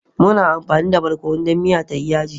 Muna amfani da Barkonu dan miya tayi Yaji.